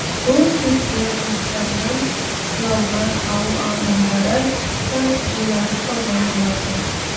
бұл кезде жұмыстарынан оралған ауыл адамдары да жиналып қалған болатын